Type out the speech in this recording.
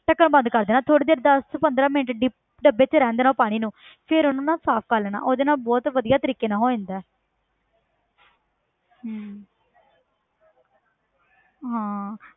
ਢੱਕਣ ਬੰਦ ਕਰ ਦੇਣਾ ਥੋੜ੍ਹੀ ਦੇਰ ਦਸ ਤੋਂ ਪੰਦਰਾਂ ਮਿੰਟ dip ਡੱਬੇ 'ਚ ਰਹਿਣ ਦੇਣਾ ਪਾਣੀ ਨੂੰ ਫਿਰ ਉਹਨੂੰ ਨਾ ਸਾਫ਼ ਕਰ ਲੈਣਾ ਉਹਦੇ ਨਾਲ ਬਹੁਤ ਵਧੀਆ ਤਰੀਕੇ ਨਾਲ ਹੋ ਜਾਂਦਾ ਹੈ ਹਮ ਹਾਂ